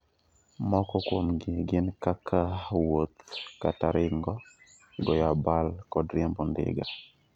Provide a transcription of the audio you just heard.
Moko kuomgi gin kaka wuoth kata ringo, goyo abal kod riembo ndiga